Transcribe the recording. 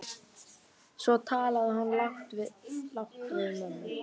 Svo talaði hún lágt við mömmu.